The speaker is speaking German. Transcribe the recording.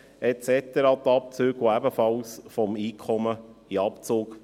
Diese Beiträge werden ebenfalls vom Einkommen abgezogen.